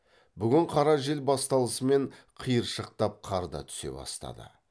бүгін қара жел басталысымен қиыршықтап қар да түсе бастады